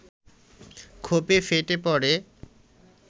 ক্ষোভে ফেটে পড়ে